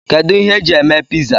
Kedụ ihe eji eme piza?